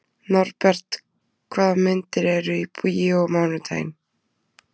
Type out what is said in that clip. Norbert, hvaða myndir eru í bíó á mánudaginn?